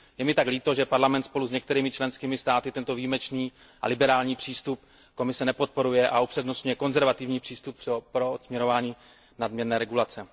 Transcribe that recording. Je mi tak líto, že Parlament spolu s některými členskými státy tento výjimečný a liberální přístup Komise nepodporuje a upřednostňuje konzervativní přístup při odstraňování nadměrné regulace.